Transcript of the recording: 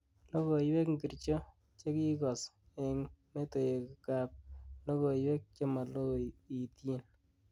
Logoywek ngircho chegigoos eng metowekab logoywek chemaloityin